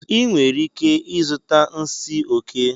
Ị nwere ike ịzụta nsi oke